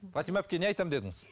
фатима әпке не айтамын дедіңіз